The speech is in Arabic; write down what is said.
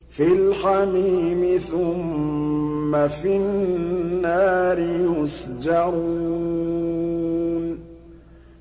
فِي الْحَمِيمِ ثُمَّ فِي النَّارِ يُسْجَرُونَ